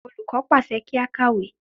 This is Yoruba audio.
Olùkọ́ pàṣẹ pé kí á kàwé.